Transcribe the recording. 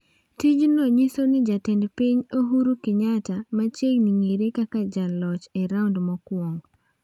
Tijno nyiso ni jatend piny Uhuru Kenyatta machiegni ng'ere kaka jaloch e raund mokwongo.